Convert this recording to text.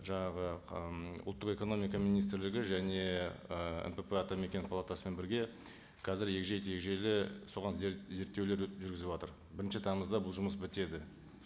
жаңағы ыыы ұлттық экономика министрлігі және і нпп атамекен палатасымен бірге қазір егжей тегжейлі соған зерттеулер жүргізіватыр бірінші тамызда бұл жұмыс бітеді